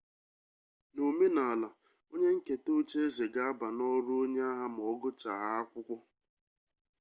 n'omenala onye nketa ocheeze ga aba n'ọrụ onye agha ma ọgụchahaa akwụkwọ